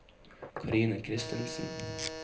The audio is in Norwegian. Karine Christensen